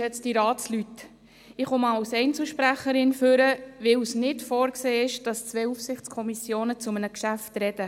Ich trete als Einzelsprecherin ans Rednerpult, weil es nicht vorgesehen ist, dass zwei Aufsichtskommissionen zu einem Geschäft sprechen.